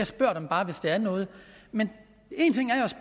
spørger dem bare hvis der er noget men en ting